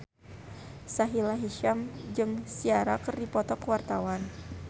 Sahila Hisyam jeung Ciara keur dipoto ku wartawan